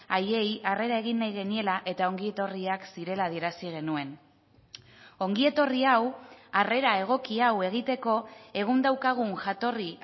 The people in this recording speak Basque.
haiei harrera egin nahi geniela eta ongietorriak zirela adierazi genuen ongietorri hau harrera egoki hau egiteko egun daukagun jatorri